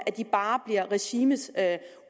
bare bliver regimets